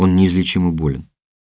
он неизлечимо болен